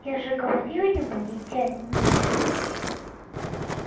я же говорил ему не тянуть с этим